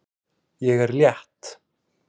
Ég er létt.